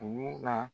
Dugu la